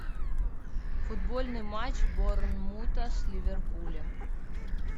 футбольный матч борнмута с ливерпулем